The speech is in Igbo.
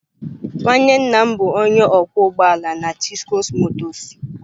Nwanne nna m bụ onye ọkwọ ụgbọ ala na Chisco motors.